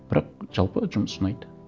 бірақ жалпы жұмыс ұнайды